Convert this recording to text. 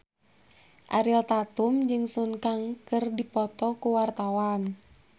Ariel Tatum jeung Sun Kang keur dipoto ku wartawan